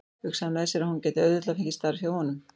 Hugsaði með sér að hún gæti auðveldlega fengið starf hjá honum.